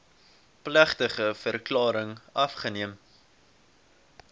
plegtige verklaring afgeneem